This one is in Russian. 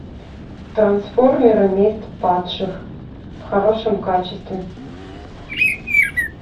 трансформеры месть падших в хорошем качестве